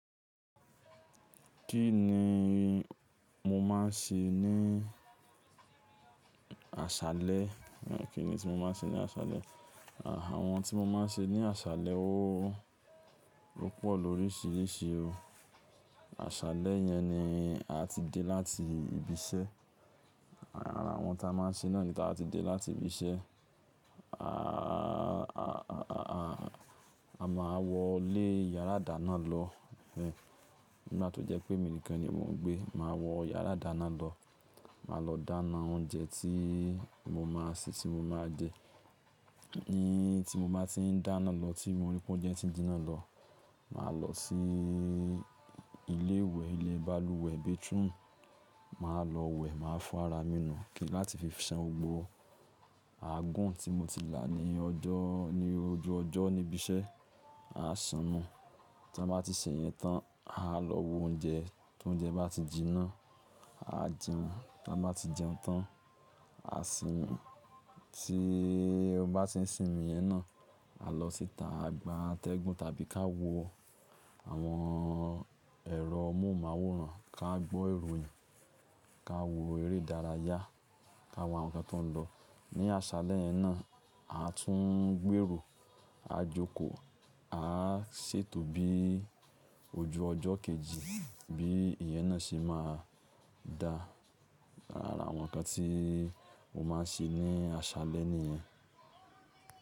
Kí ni mo máa ń ṣe ní àṣálẹ́? Kí ni tí mo máa ń ṣe ní àṣálẹ́? Àwọn tí mo máa ń ṣe ní àṣálẹ́ ó pọ̀ lóríṣiríṣi o. Àṣálẹ́ yẹn ni a ti dé láti ibi iṣẹ́. Àwọn tí a máa ń ṣe náà ni tí a ti dé láti ibi iṣẹ́. A máa wọ lé yàrá dáná lọ. Nígbà tó jẹ́ pé èmi nìkan ni mò ń gbé, màá wọ yàrá dáná lọ. Màá lọ dáná oúnjẹ tí mo máa sè tí mo máa jẹ. Ní tí mo bá ti ń dáná lọ tí mo rí pé oúnjẹ ti n jinná lọ, màá lọ sí ilé ìwẹ̀, ilé balùwẹ̀, bathroom, màá lọ wẹ̀, màá fo ara mi nù láti fi san gbogbo àgún tí mo ti là ní ojo ni oju ọjọ́ níbi iṣẹ́, à ń san nu. Tí a bá ti ṣe ìyẹn tán, a lọ wo oúnjẹ, tí oúnjẹ bá ti jinná, à jẹun. Tí a bá ti jẹun tán, à sìnù. Tí a bá ti ń sìn mi ìyẹn náà, à lọ síta, a gba àtẹ̀gùn tàbí ká wo àwọn ẹ̀rọ móhùnmáwòrán, ká gbọ́ ìròyìn, ká wo eré ìdárayá, ká wo àwọn nǹkan tó ń lọ. Ni àṣálẹ́ yẹn náà, a tún gbèrò, a jókòó, a ṣètò bí ojú ọjọ́ kejì bí ìyẹn náà ṣe máa dà. Àwọn nǹkan tí mo máa ń ṣe ní àṣálẹ́ ni ìyẹn.